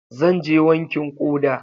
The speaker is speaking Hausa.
Zan je wankin ƙoda.